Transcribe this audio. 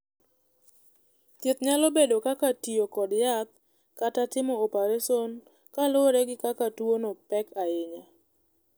Thieth nyalo bedo kaka tiyo kod yath kata timo opereson kaluwore gi kaka tuwono pek ahinya.